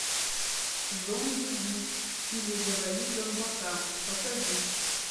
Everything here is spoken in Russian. зомбиби или завали зомбака покажи